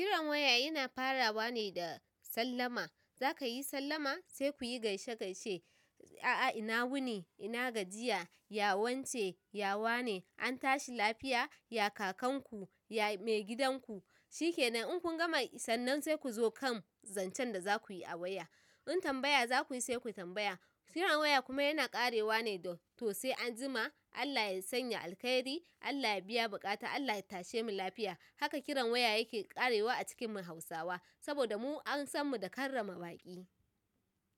Kiran waya yana farawa ne da sallama. Za ka yi sallama? Sai ku yi gaishe-gaishe. A'a ina wuni, ina gajiya, ya wance, ya wane, an tashi lafiya? Ya kakanku? Ya maigidanku? Shikenan. In kun gama sannan sai ku zo kan zancen da za ku yi a waya. In tambaya za ku yi sai ku yi tambaya. Kiran waya kuma yana ƙarewa ne da toh sai an jima, Allah ya sanya alkhairi, Allah ya biya buƙata, Allah ya tashe mu lafiya. Haka kiran waya yake ƙarewa a cikin mu Hausawa, saboda mu an san mu da karrama baƙi.